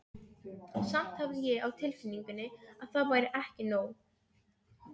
Samt hafði ég á tilfinningunni að það væri ekki nóg.